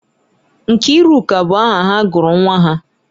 Nkiruka bụ aha ha gụrụ nwa ha.